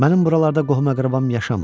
Mənim buralarda qohum-əqrəbam yaşamır.